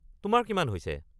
তোমাৰ কিমান হৈছে?